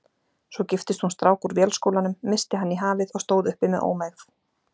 Svo giftist hún strák úr Vélskólanum, missti hann í hafið og stóð uppi með ómegð.